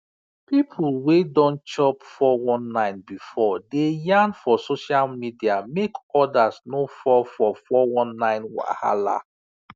people wey don chop 419 before dey yarn for social media make others no fall for 419 wahala